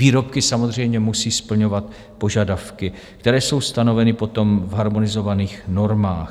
Výrobky samozřejmě musí splňovat požadavky, které jsou stanoveny potom v harmonizovaných normách.